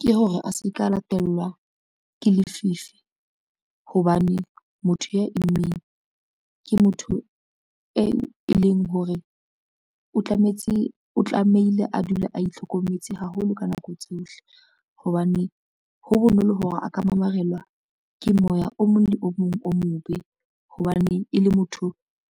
Ke hore a se ka latelwa ke lefifi, hobane motho ya immeng ke motho e leng hore o tlamehile a dula a itlhokometse haholo ka nako tsohle hobane, ho bonolo hore a ka mamarelwa ke moya o mong le o mong o mobe hobane e le motho